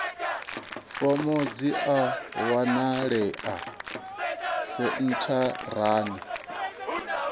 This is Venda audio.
fomo dzi a wanalea sentharani